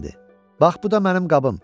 Bax bu da mənim qabım.